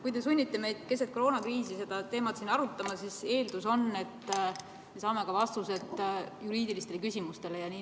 Kui te sunnite meid keset koroonakriisi seda teemat siin arutama, siis eeldus on, et me saame ka vastused juriidilistele küsimustele.